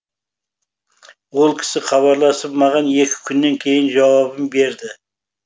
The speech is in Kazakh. ол кісі хабарласып маған екі күннен кейін жауабын берді